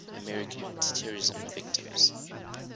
american terrorism victims